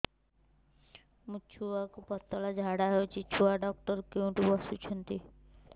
ମୋ ଛୁଆକୁ ପତଳା ଝାଡ଼ା ହେଉଛି ଛୁଆ ଡକ୍ଟର କେଉଁଠି ବସୁଛନ୍ତି